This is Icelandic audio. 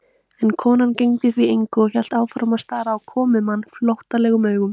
En konan gegndi því engu og hélt áfram að stara á komumann flóttalegum augum.